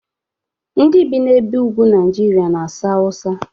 Ndị bi n'ebe ugwu Nigeria na-asụ Hausa